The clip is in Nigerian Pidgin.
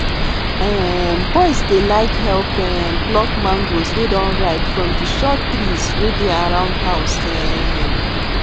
um boys dey like help um pluck mangoes wey don ripe from di short trees wey dey around house um